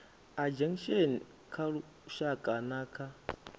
ageinaction kha lushaka na kha